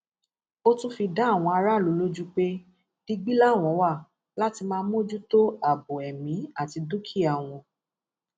ó tún fi dá àwọn aráàlú lójú pé digbí làwọn wá láti máa mójútó ààbò ẹmí àti dúkìá wọn